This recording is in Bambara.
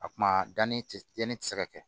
A kuma danni tɛ yanni ti se ka kɛ